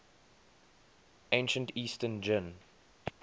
ancient eastern jin